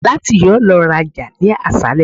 Nath yoo lọ raja ni aṣalẹ